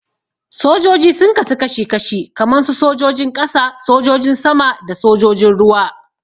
Sojoji sun kasu kashi-kashi kaman su sojojin ƙasa, sojojin sama da sojojin ruwa.